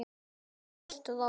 Hún var með strák!